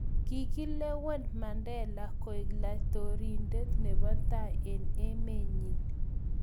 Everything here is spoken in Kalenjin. Kikilewen Mandela koleku laitoriande nebo tai eng' emenyin